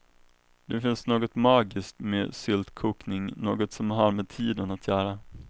Det finns något magiskt med syltkokning, något som har med tiden att göra.